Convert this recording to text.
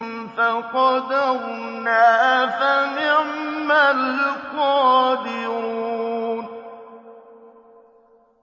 فَقَدَرْنَا فَنِعْمَ الْقَادِرُونَ